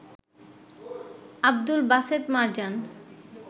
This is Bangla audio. আব্দুল বাসেত মারজান